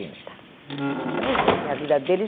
Então os dois têm a vida deles.